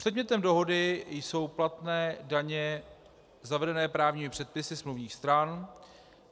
Předmětem dohody jsou platné daně zavedené právními předpisy smluvních stran.